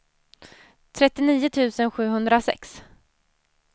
trettionio tusen sjuhundrasex